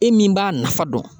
E min b'a nafa dɔn